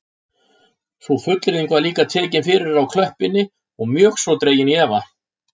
Sú fullyrðing var líka tekin fyrir á klöppinni og mjög svo dregin í efa